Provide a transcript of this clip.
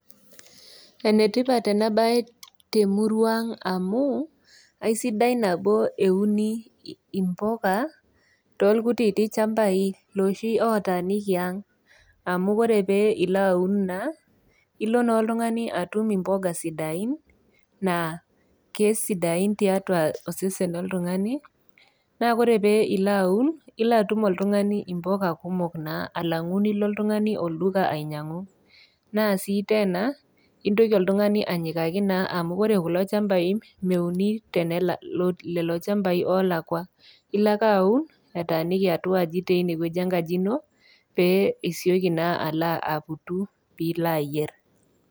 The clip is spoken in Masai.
Enetipat ena baye temurua ang amu aisidai nabo euni impoka tolkutiti chambai loshi otaniki ang amu kore pee ilo aun naa ilo naa oltung'ani atum impoga sidain naa kesidain tiatua osesen loltung'ani naa kore pee ilo aun ilo atum oltung'ani impoka kumok naa alang'u nilo oltung'ani olduka ainyiang'u naa sii tena intoki oltung'ani anyikaki naa amu ore kulo chambai meuni tenela lelo chambai olakua ilo ake aun etaniki atua aji teine wueji enkaji ino pee isioki naa alo aputu pilo ayierr.